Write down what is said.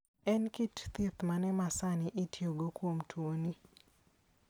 En kit thieth mane masani itiyogo kuom tuoni?